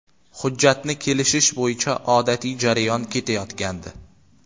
Hujjatni kelishish bo‘yicha odatiy jarayon ketayotgandi.